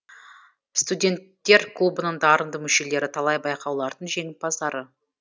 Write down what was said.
студенттер клубының дарынды мүшелері талай байқаулардың жеңімпаздары